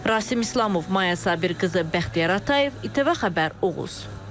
Rasim İslamov, Maya Sabirqızı, Bəxtiyar Atayev, İTV Xəbər, Oğuz.